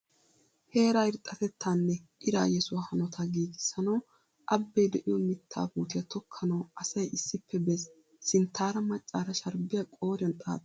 Heeraa irxxatettaa nne iraa yesuwa hanotaa giigissanawu abee de'iyo mittaa puutiya tokkanawu asay issippe bees. Sinttaara maccaara sharbbiya qooriyan xaaxaasu.